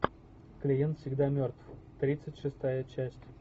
клиент всегда мертв тридцать шестая часть